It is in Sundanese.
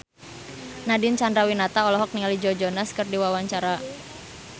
Nadine Chandrawinata olohok ningali Joe Jonas keur diwawancara